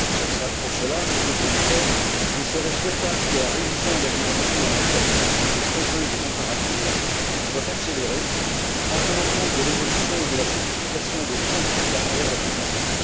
Pour cela, Monsieur le Commissaire, il serait souhaitable que la révision de la directive en matière de publicité trompeuse et comparative soit accélérée en tenant compte de l'évolution et de la sophistication des tromperies à travers la publicité.